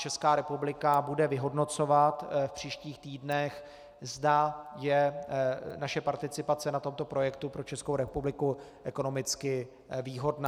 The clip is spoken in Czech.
Česká republika bude vyhodnocovat v příštích týdnech, zda je naše participace na tomto projektu pro Českou republiku ekonomicky výhodná.